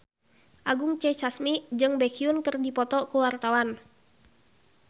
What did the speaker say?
Anggun C. Sasmi jeung Baekhyun keur dipoto ku wartawan